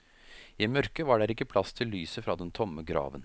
I mørke var der ikke plass til lyset fra den tomme graven.